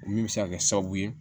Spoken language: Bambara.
O min bɛ se ka kɛ sababu ye